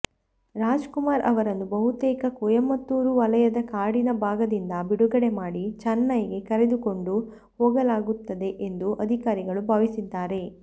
ರಾಜ್ಕುಮಾರ್ ಅವರನ್ನು ಬಹುತೇಕ ಕೊಯಮತ್ತೂರು ವಲಯದ ಕಾಡಿನ ಭಾಗದಿಂದ ಬಿಡುಗಡೆ ಮಾಡಿ ಚೆನ್ನೈಗೆ ಕರೆದುಕೊಂಡು ಹೋಗಲಾಗುತ್ತದೆ ಎಂದು ಅಧಿಕಾರಿಗಳು ಭಾವಿಸಿದ್ದಾರೆ